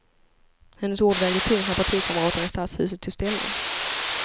Hennes ord vägde tungt när partikamraterna i stadshuset tog ställning.